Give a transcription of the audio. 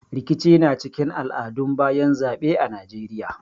Rikici na cikin al'adun bayan zaɓe a Najeiya.